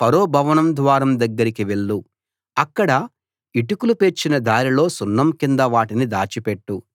ఫరో భవన ద్వారం దగ్గరికి వెళ్ళు అక్కడ ఇటుకలు పేర్చిన దారిలో సున్నం కింద వాటిని దాచి పెట్టు